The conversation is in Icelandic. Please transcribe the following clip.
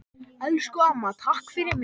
Elsku amma, takk fyrir mig.